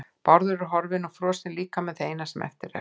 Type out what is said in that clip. Bárður er horfinn og frosinn líkami það eina sem eftir er.